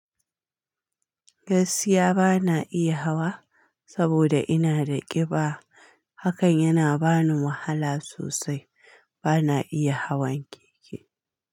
Gaskiya bana iya hawa saboda ina da ƙiba, hakan yana bani wahala sosai. Bana iya hawan keke.